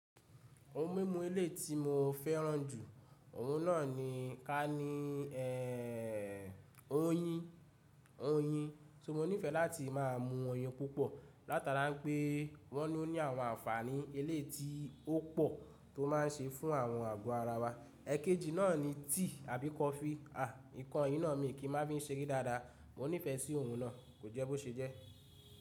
Ohun mímu ilé tí mo fẹ́ràn jù, ọ̀hún náà ni ká ní oyin, oyin. So mo nífẹẹ láti máa mú oyin púpọ̀, látara pé wọn ni ó ní àwọn ànfàní eléeyi ti ó pọ̀ tó máa ń ṣe fún àwọn àgọ́ ara wa. Ẹ̀kẹjì náà ni tea àbí coffee. À, nǹkan yìí náà mi kì í máa fi ń ṣe ere dáadáa. Mo nífẹẹ sí ọ̀hún náà, kò jẹ́ bó ṣe jẹ́.